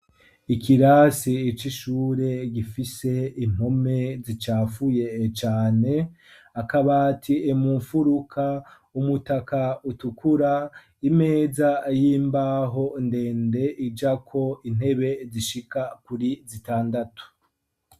Ikirasi ico ishure gifise impome zicafuye cane akabati imumfuruka umutaka utukura imeza yimbaho ndende ijako intebe zishika kuri zitandatu.